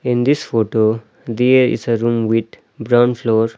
In this photo there is a room with brown floor.